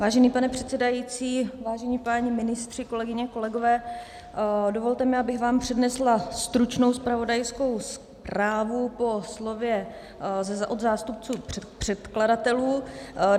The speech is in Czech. Vážený pane předsedající, vážení páni ministři, kolegyně, kolegové, dovolte mi, abych vám přednesla stručnou zpravodajskou zprávu po slově od zástupců předkladatelů.